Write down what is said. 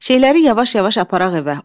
Şeyləri yavaş-yavaş aparaq evə.